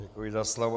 Děkuji za slovo.